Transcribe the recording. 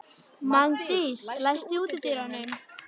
Magndís, læstu útidyrunum.